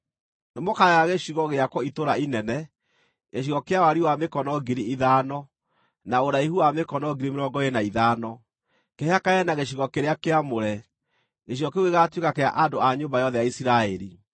“ ‘Nĩmũkagaya gĩcigo gĩakwo itũũra inene, gĩcigo kĩa wariĩ wa mĩkono 5,000, na ũraihu wa mĩkono 25,000, kĩhakane na gĩcigo kĩrĩa kĩamũre; gĩcigo kĩu gĩgaatuĩka kĩa andũ a nyũmba yothe ya Isiraeli.